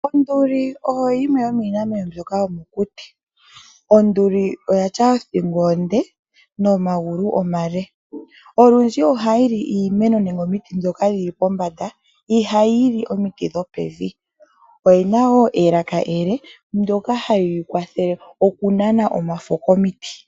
Onduli oyo yimwe yomiinamwenyo mbyoka yomokuti. Onduli oyina othingo onde nomagulu omale. Olundji ohayi li iimeno nenge omiti ndhoka dhili pombanda, ihayi li omiti dhopevi. Oyina wo elaka ele ndyoka hali yi kwathele oku nana omafo komiti.